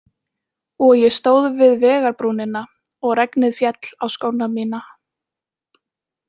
Og ég stóð við vegarbrúnina og regnið féll á skóna mína.